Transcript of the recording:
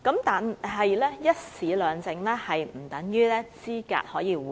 但是，"一試兩證"不等於可以資格互認。